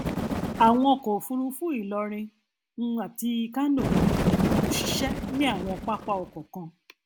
àwọn ọkọ òfúrufú ilorin um àti kánò kò ṣiṣẹ ní àwọn pápá ọkọ kan